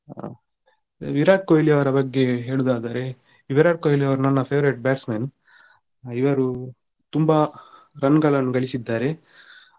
ಆ ವಿರಾಟ್ ಕೊಹ್ಲಿಯವರ ಬಗ್ಗೆ ಹೇಳುದಾದ್ರೆ ವಿರಾಟ್ ಕೊಹ್ಲಿಯವರು ನನ್ನ favourite batsman ಇವರು ತುಂಬಾ run ಗಳನ್ನೂ ಗಳಿಸಿದ್ದಾರೆ.